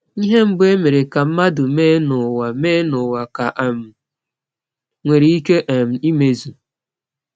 Ihe mbụ e mere ka mmadụ mee n’ụwa mee n’ụwa ka um nwere ike um imezu.